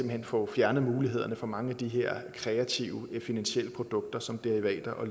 hen få fjernet mulighederne for mange af de her kreative finansielle produkter som derivater og